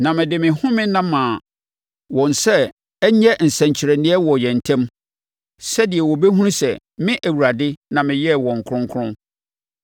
Na mede me home nna maa wɔn sɛ ɛnyɛ nsɛnkyerɛnneɛ wɔ yɛn ntam, sɛdeɛ wɔbɛhunu sɛ me Awurade na meyɛɛ wɔn kronkron.